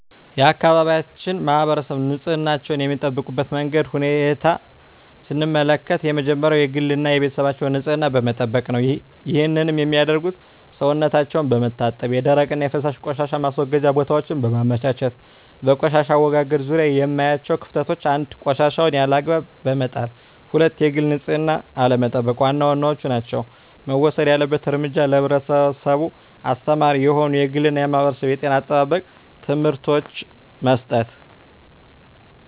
የአካባቢያችን ማህበረሰብ ንፅህናቸዉን የሚጠብቁበት መንገድ ወይም ሁኔታን ስንመለከት የመጀመሪያዉ የግል እና የቤተሰባቸዉን ንፅህና በመጠበቅ ነዉ ይህንንም የሚያደርጉት ሰዉነታቸዉን በመታጠብ የደረቅና የፈሳሽ ቆሻሻ ማስወገጃ ቦታወችን በማመቻቸት ነዉ። በቆሻሻ አወጋገድ ዙሪያ የማያቸዉ ክፍተቶች፦ 1. ቆሻሻወችን ያለ አግባብ በመጣልና 2. የግል ንፅህናን አለመጠቅ ዋና ዋናወቹ ናቸዉ። መወሰድ ያለበት እርምጃ ለህብረተሰቡ አስተማሪ የሆኑ የግልና የማህበረሰብ የጤና አጠባበቅ ትምህርቶችን መስጠት።